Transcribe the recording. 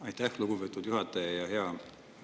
Aitäh, lugupeetud juhataja!